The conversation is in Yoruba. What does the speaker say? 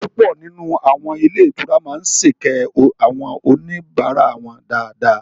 Púpọ̀ nínú àwọn ilé ìtura máa sèkẹ́ àwọn oníbàárà wọn dáadáa